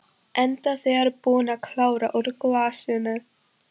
Enda þegar búin að klára úr glasinu.